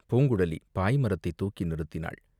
பூங்குழலி பாய் மரத்தைத் தூக்கி நிறுத்தினாள்.